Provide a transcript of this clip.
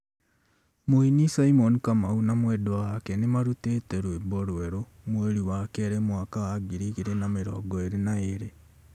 Mũini Simon Kamau na mwendwa wake nĩmarutĩte rwĩmbo rwerũ mweri wa kerĩ mwaka wa ngiri igĩrĩ na mĩrongo ĩrĩ na ĩrĩ